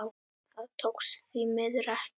Það tókst því miður ekki.